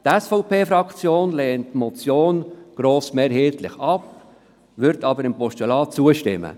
Die SVP-Fraktion lehnt die Motion grossmehrheitlich ab, wird jedoch einem Postulat zustimmen.